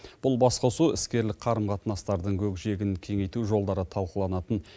бұл басқосу іскерлік қарым қатынастардың көкжиегін кеңейту жолдары талқыланатын